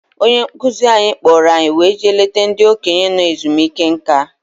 Onye nkuzi anyị kpọrọ anyị wee jee leta ndị okenye nọ ezumike nká.